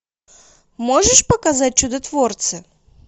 можешь показать чудотворцы